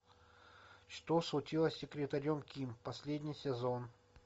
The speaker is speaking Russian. что случилось с секретарем ким последний сезон